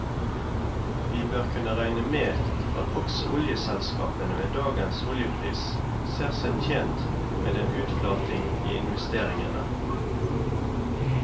Vi bør kunne regne med at også oljeselskapene med dagens oljepris ser seg tjent med en utflatning i investeringene.